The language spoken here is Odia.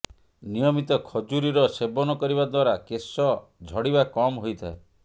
ନିୟମିତ ଖଜୁରୀର ସେବନ କରିବା ଦ୍ୱାରା କେଶ ଝଡ଼ିବା କମ ହୋଇଥାଏ